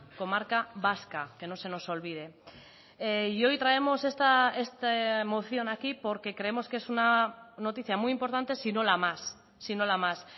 comarca vasca que no se nos olvide y hoy traemos esta moción a aquí porque creemos que es una noticia muy importante si no la más si no la más